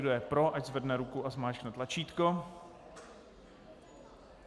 Kdo je pro, ať zvedne ruku a zmáčkne tlačítko.